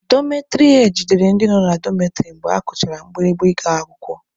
Dọmetịrị hed jidere ndị nọ na dọmetịrị mgbe akụchara mgbirimgba ị ga-akwụkwọ.